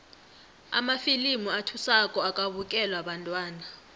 amafilimu athusako akabukelwa bantwana